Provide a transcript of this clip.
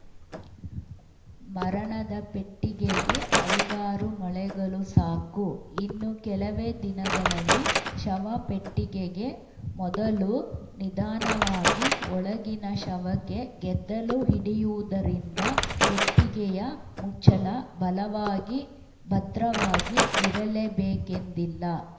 ಮರಣದ ಪೆಟ್ಟಿಗೆಗೆ ಐದಾರು ಮೊಳೆಗಳು ಸಾಕು ಇನ್ನು ಕೆಲವೇ ದಿನಗಳಲ್ಲಿ ಶವ ಪೆಟ್ಟಿಗೆಗೆ ಮೊದಲು ನಿಧಾನವಾಗಿ ಒಳಗಿನ ಶವಕ್ಕೆ ಗೆದ್ದಲು ಹಿಡಿಯುವುದರಿಂದ ಪೆಟ್ಟಿಗೆಯ ಮುಚ್ಚಳ ಬಲವಾಗಿ ಭದ್ರವಾಗಿ ಇರಲೇ ಬೇಕೆಂದಿಲ್ಲ